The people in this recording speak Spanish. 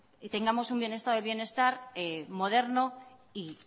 y tengamos un estado del bienestar moderno y